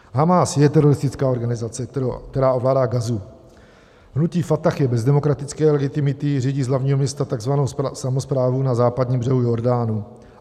Hamás je teroristická organizace, která ovládá Gazu, hnutí Fatah je bez demokratické legitimity, řídí z hlavního města tzv. samosprávu na Západním břehu Jordánu.